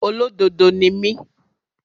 Olódodo ni mí.